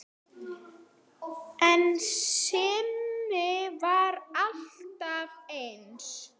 En Simmi var alltaf eins.